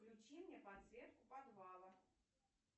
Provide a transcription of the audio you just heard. включи мне подсветку подвала